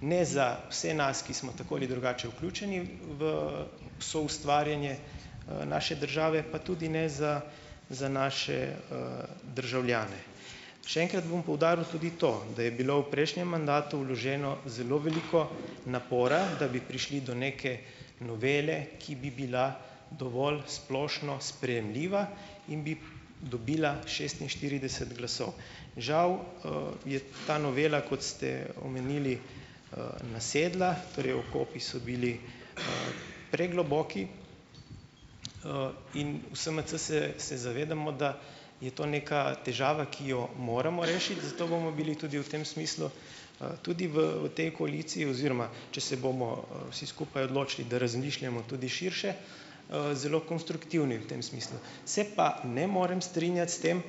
ne za vse nas, ki smo tako ali drugače vključeni v soustvarjanje, naše države, pa tudi ne za za naše, državljane. Še enkrat bom poudaril tudi to, da je bilo v prejšnjem mandatu vloženo zelo veliko napora, da bi prišli do neke novele, ki bi bila dovolj splošno sprejemljiva in bi dobila šestinštirideset glasov. Žal, je ta novela, kot ste omenili, nasedla, torej okopi so bili, pregloboki, in v SMC se, se zavedamo, da je to neka težava, ki jo moramo rešiti, zato bomo bili tudi v tem smislu, tudi v v tej koaliciji, oziroma če se bomo, vsi skupaj odločili, da razmišljamo tudi širše, zelo konstruktivni v tem smislu. Se pa ne morem strinjati s tem,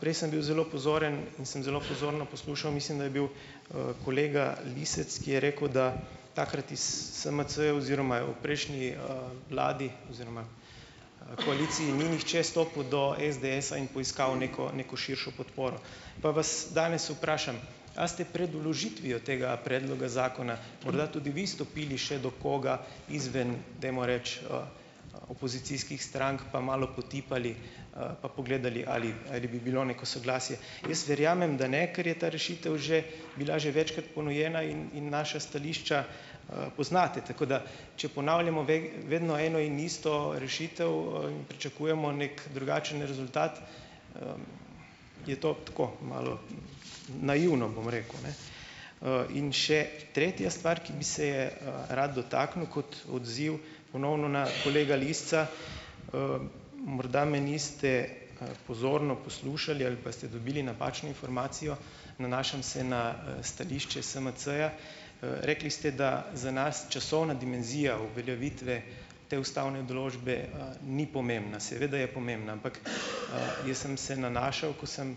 prej sem bil zelo pozoren in sem zelo pozorno poslušal, mislim, da je bil, kolega Lisec, ki je rekel, da takrat iz SMC oziroma v prejšnji, vladi oziroma, koaliciji ni nihče stopil do SDS-a in poiskal neko, neko širšo podporo. Pa vas danes vprašam, a ste pred vložitvijo tega predloga zakona, morda tudi vi stopili še do koga izven, dajmo reči, opozicijskih strank pa malo potipali, pa pogledali ali, ali bi bilo neko soglasje. Jaz verjamem, da ne, kar je ta rešitev že bila že večkrat ponujena in, in naša stališča, poznate, tako da, če ponavljamo veg, vedno eno in isto rešitev, in pričakujemo neki drugačen rezultat, je to tako, malo naivno, bom rekel, ne. In še tretja stvar, ki bi se je, rad dotaknil kot odziv ponovno na kolega Lisca. Morda me niste, pozorno poslušali ali pa ste dobili napačno informacijo, nanašam se na, stališče SMC-ja. Rekli ste, da za nas časovna dimenzija uveljavitve te ustavne določbe, ni pomembna. Seveda je pomembna, ampak jaz sem se nanašal, ko sem,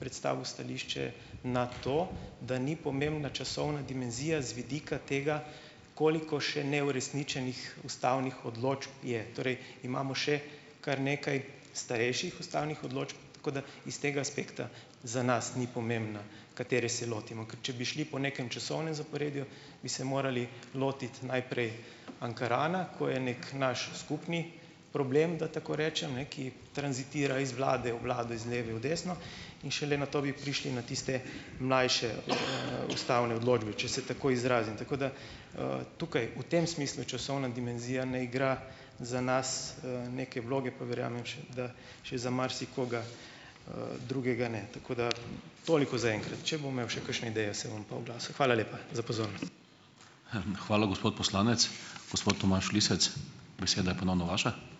predstavil stališče na to, da ni pomembna časovna dimenzija z vidika tega, koliko še neuresničenih ustavnih odločb je. Torej imamo še kar nekaj starejših ustavnih odločb, tako da iz tega aspekta za nas ni pomembno, katere se lotimo, ker če bi šli po nekem časovnem zaporedju, bi se morali lotiti najprej Ankarana, ko je neki naš skupni problem, da tako rečem, ne, ki tranzitira iz vlade v vlado, iz leve v desno, in šele nato bi prišli na tiste mlajše, ustavne odločbe, če se tako izrazim. Tako da, tukaj v tem smislu časovna dimenzija ne igra za nas, neke vloge, pa verjamem še, da še za marsikoga, drugega ne. Tako da, toliko zaenkrat. Če bom imel še kakšne ideje, se bom pa oglasil. Hvala lepa za pozornost.